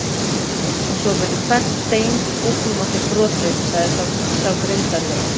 Og svo verður hvert bein í búknum á þér brotið, sagði sá grimmdarlegi.